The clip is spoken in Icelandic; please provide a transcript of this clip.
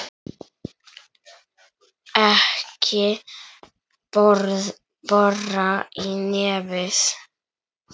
Ekki bora í nefið!